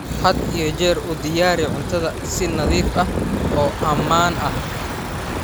Had iyo jeer u diyaari cuntada si nadiif ah oo ammaan ah.